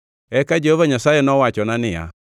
Eka Jehova Nyasaye ne owachona niya,